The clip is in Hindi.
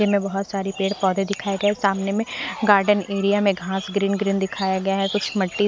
जिनमें बहोत सारे पेड़ पौधे दिखाया जाए सामने में गार्डन एरिया में घास ग्रीन ग्रीन दिखाया गया है कुछ मिट्टी--